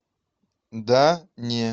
да не